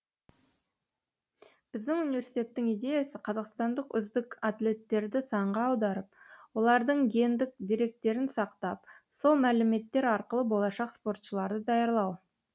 біздің университеттің идеясы қазақстандық үздік атлеттерді санға аударып олардың гендік деректерін сақтап сол мәліметтер арқылы болашақ спортшыларды даярлау